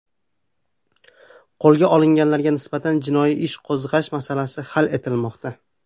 Qo‘lga olinganlarga nisbatan jinoiy ish qo‘zg‘ash masalasi hal etilmoqda.